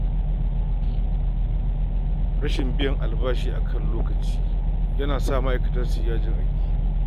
Rashin biyan albashi cikin lokaci na sa ma’aikata su shiga yajin aiki.